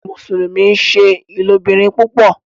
Àwọn Mùsùlùmí nṣẹ ilobìrin púpò